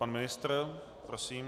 Pan ministr, prosím.